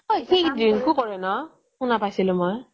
ঐ সি drink ও কৰে ন' শুনা পাইছিলোঁ মই